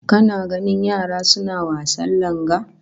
Kana ganin yara suna wasan langa?